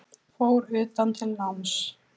Fór utan til náms